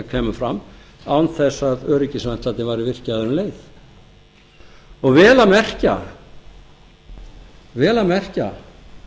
kæmu fram án þess að öryggisventlarnir væru virkjaðir um leið og vel að merkja